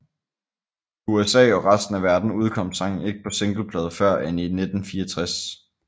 I USA og resten af verden udkom sangen ikke på singleplade før end i 1964